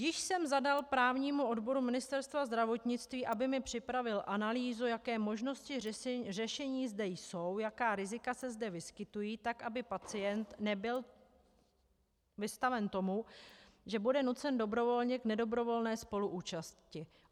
Již jsem zadal právnímu odboru Ministerstva zdravotnictví, aby mi připravil analýzu, jaké možnosti řešení zde jsou, jaká rizika se zde vyskytují, tak aby pacient nebyl vystaven tomu, že bude nucen dobrovolně k nedobrovolné spoluúčasti.